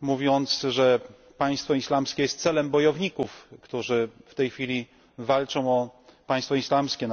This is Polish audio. mówiąc, że państwo islamskie jest celem bojowników, którzy w tej chwili walczą o państwo islamskie na terenie Iraku i nie tylko.